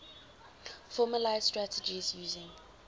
formalised strategies using